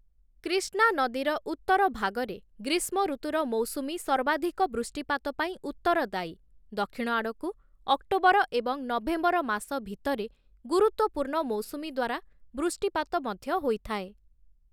କ୍ରିଷ୍ଣା ନଦୀର ଉତ୍ତର ଭାଗରେ, ଗ୍ରୀଷ୍ମ ଋତୁର ମୌସୁମୀ ସର୍ବାଧିକ ବୃଷ୍ଟିପାତ ପାଇଁ ଉତ୍ତରଦାୟୀ, ଦକ୍ଷିଣ ଆଡ଼କୁ, ଅକ୍ଟୋବର ଏବଂ ନଭେମ୍ବର ମାସ ଭିତରେ ଗୁରୁତ୍ୱପୂର୍ଣ୍ଣ ମୌସୁମୀ ଦ୍ଵାରା ବୃଷ୍ଟିପାତ ମଧ୍ୟ ହୋଇଥାଏ ।